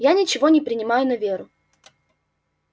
я ничего не принимаю на веру